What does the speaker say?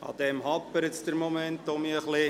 An dieser hapert es im Moment ein bisschen.